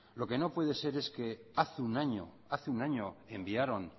lo que no puede ser es que hace un año hace un año enviaron